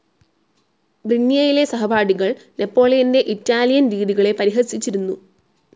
ബ്രിന്ന്യേയിലെ സഹപാഠികൾ നെപോളിയന്റെ ഇറ്റാലിയൻ രീതികളെ പരിഹസിച്ചിരുന്നു.